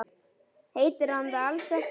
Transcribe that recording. Heitir hann það alls ekki?